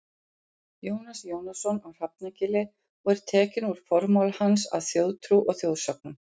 Jónas Jónasson á Hrafnagili og er tekinn úr formála hans að Þjóðtrú og þjóðsögnum.